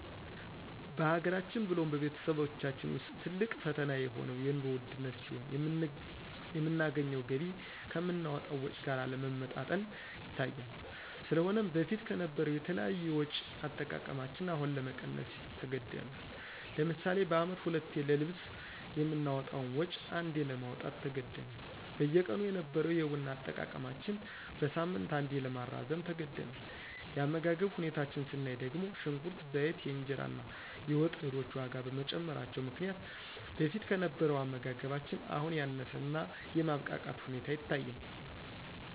በሀገራችን ብሎም በቤተሰባችን ውስጥ ትልቅ ፈተና የሆነው የንሮ ውድነት ሲሆን የምናገኘው ገቢ ከምናወጣው ወጭ ጋር አለመመጣጠን ይታያል። ስለሆነም በፊት ከነበረው የተለያዩ የወጭ አጠቃቀማችን አሁን ለመቀነስ ተገዳል። ለምሳሌ በአመት ሁለቴ ለልብስ የምናወጣውን ወጭ አንዴ ለማውጣት ተገደናል። በየቀኑ የነበረው የቡና አጠቃቀማችን በሳምንት አንዴ ለማራዘም ተገደናል። የአመጋገብ ሁኔታችን ስናይ ደግሞ ሽንኩርት፣ ዘይት፣ የእንጀራ እና የወጥ እህሎች ዋጋ በመጨመራቸው ምክንያት በፊት ከነበረው አመጋገባችን አሁን ያነሰ እና የማብቃቃት ሁኔታ ይታያል።